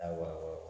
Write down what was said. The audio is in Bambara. Awɔ